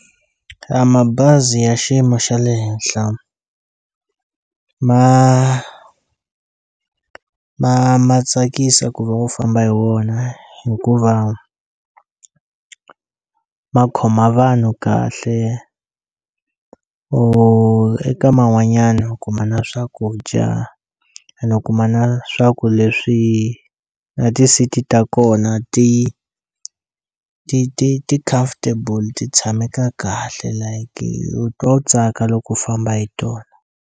A mabazi ya xiyimo xa le henhla ma ma ma tsakisa ku va u famba hi wona hikuva ma khoma vanhu kahle or eka man'wanyani u kuma na swakudya ene u kuma na swa ku leswi na ti-seat ta kona ti ti ti ti comfortable ti tshameka kahle like u twa u tsaka loko u famba hi tona.